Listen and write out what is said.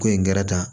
Ko in gɛrɛ ta